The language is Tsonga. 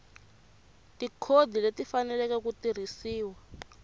tikhodi leti faneleke ku tirhisiwa